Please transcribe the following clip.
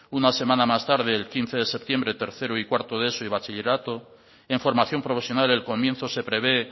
una semana más tarde el quince de septiembre tercero y cuarto de eso y bachillerato en formación profesional el comienzo se prevé